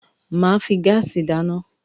Máà fi gáàsì dáná